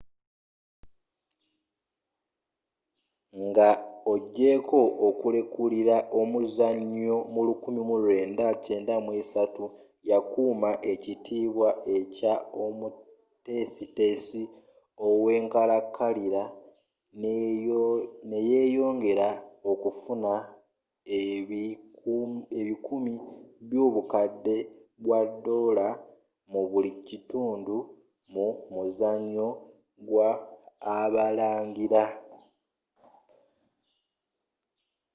nga ogyeko okulekulira omuzanyo mu 1993 yakuuma ekitiibwa ekya omutesitesi owenkalankalira neyeyongera okufuna ebikumi byobukadde bwa doola mu buli kitundu mu muzanyo gwa abalangira